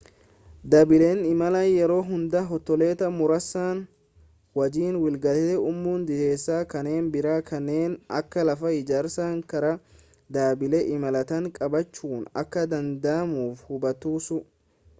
dhaabbileen imalaa yeroo hunda hoteelota muraasa wajjiin waliigaltee uumu dhiheessa kanneen biraa kanneen akka lafa ijaarsaa karaa dhaabbilee imalaatiin qabachuun akka danda'amu hubattus